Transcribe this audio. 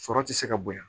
Sɔrɔ ti se ka bonya